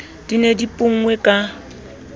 di ne di ponngwe ka